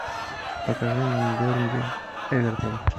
покажи нам бернли эвертон